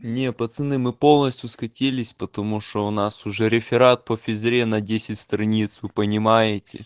не пацаны мы полностью скатились потому что у нас уже реферат по физре на десять страниц вы понимаете